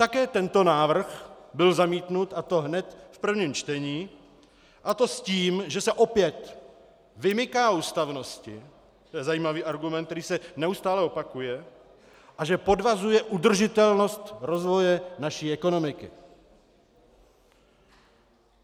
Také tento návrh byl zamítnut, a to hned v prvním čtení, a to s tím, že se opět vymyká ústavnosti, to je zajímavý argument, který se neustále opakuje, a že podvazuje udržitelnost rozvoje naší ekonomiky.